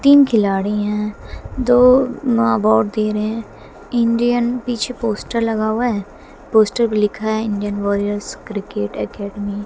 तीन खिलाड़ी हैं दोनों अवार्ड दे रहे हैं इंडियन पीछे पोस्टर लगा हुआ है पोस्टर पर पीछे लिखा है इंडियन वॉरियर्स क्रिकेट अकैडमी --